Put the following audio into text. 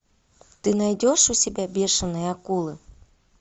ты найдешь у себя бешеные акулы